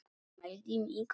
Mældi mig út.